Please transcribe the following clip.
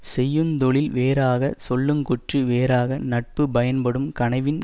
செய்யுந்தொழில் வேறாகச் சொல்லுங்கூற்று வேறாக நட்பு பயன்படும் கனவின்